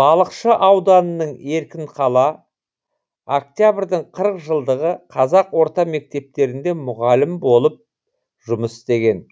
балықшы ауданының еркінқала октябрьдің қырық жылдығы қазақ орта мектептерінде мұғалім болып жұмыс істеген